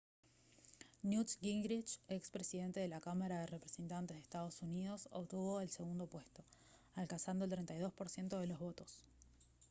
newt gingrich ex presidente de la cámara de representantes de ee. uu. obtuvo el segundo puesto alcanzando el 32 % de los votos